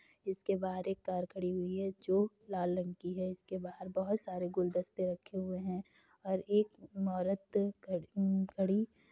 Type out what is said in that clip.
इसके बाहर एक कार खड़ी हुई है जो लाल रंग की है। इसके बाहर बोहोत सारे गुलदस्ते रखे हुए हैं और एक म्म औरत म्म्म खड़ी --